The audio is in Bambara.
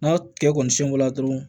N'a kɛ kɔni sinko la dɔrɔn